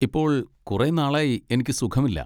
ഇപ്പോൾ കുറെ നാളായി എനിക്ക് സുഖമില്ല.